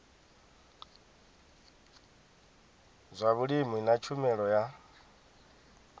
zwa vhulimi na tshumelo ya